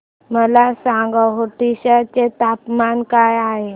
मला सांगा ओडिशा चे तापमान काय आहे